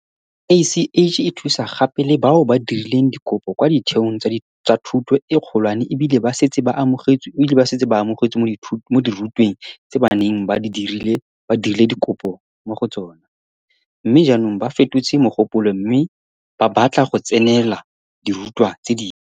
CACH e thusa gape le bao ba dirileng dikopo kwa ditheong tsa thuto e kgolwane ebile ba setse ba amogetswe mo dirutweng tse ba neng ba dirile dikopo mo go tsona, mme jaanong ba fetotse mogopolo mme ba batla go tsenela dirutwa tse dingwe.